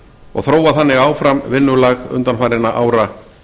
og þróa þannig áfram vinnulag undanfarinna ára